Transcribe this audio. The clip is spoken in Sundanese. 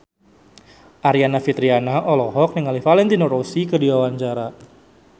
Aryani Fitriana olohok ningali Valentino Rossi keur diwawancara